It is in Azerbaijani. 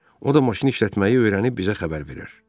O da maşını işlətməyi öyrənib bizə xəbər verər.